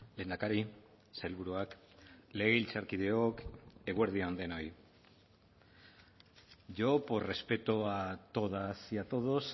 lehendakari sailburuak legebiltzarkideok eguerdi on denoi yo por respeto a todas y a todos